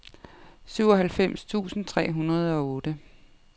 syvoghalvfems tusind tre hundrede og otte